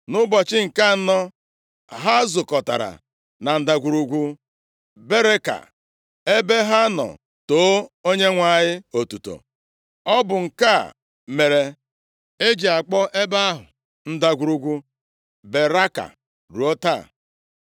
Nʼụbọchị nke anọ ha zukọtara na Ndagwurugwu Beraka + 20:26 Beraka pụtara Otuto ebe ha nọ too Onyenwe anyị otuto. Ọ bụ nke a mere e ji akpọ ebe ahụ Ndagwurugwu Beraka ruo taa.